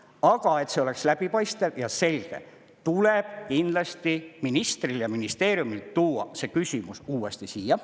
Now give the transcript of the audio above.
Aga et see oleks läbipaistev ja selge, tuleb kindlasti ministril ja ministeeriumil tuua see küsimus uuesti siia.